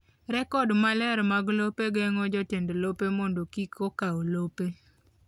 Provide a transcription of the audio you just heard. Rekod maler mag lope geng’o jotend lope mondo kik okaw lope..